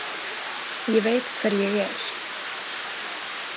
Ég veit hver ég er.